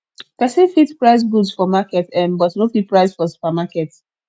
persin fit price goods for market um but no fit price for supermarket